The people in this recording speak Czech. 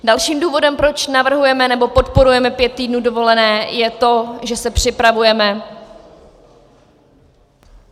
Dalším důvodem, proč navrhujeme nebo podporujeme pět týdnů dovolené, je to, že se připravujeme...